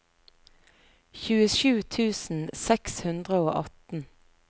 tjuesju tusen seks hundre og atten